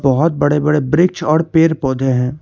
बहोत बड़े बड़े वृक्ष और पेड़ पौधे हैं।